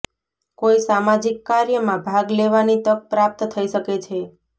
કોઈ સામાજિક કાર્યમાં ભાગ લેવાની તક પ્રાપ્ત થઇ શકે છે